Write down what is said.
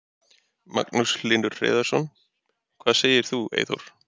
Magnús Hlynur Hreiðarsson: Hvað segir þú Eyþór?